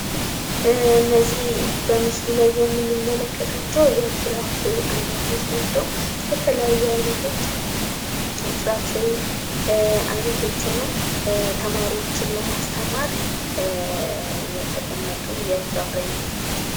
እነዚህ በምስሉ ላይ የምንመለከታቸው የፍራፍሬ አይነቶች ናቸው። የተለያዩ አይነቶች ፍራፍሬ አይነቶች ሁነው ተማሪወችን ለማስተማር የተቀመጡ የፍራፍሬ አይነቶች ናቸው።